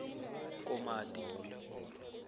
komati